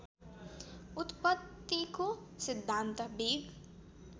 उत्पत्तिको सिद्धान्त बिग